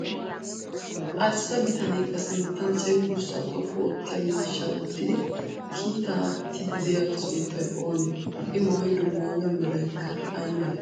Arssa bitanee ba sinttan cenggurssaa xoqqu oottiya miishshaa wottidi kiitaa aattiiddi diyaagaa sunttay oonee? I mayyido mayyuwa merayikka ayi malee?